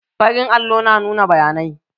Farin allo na nuna bayanai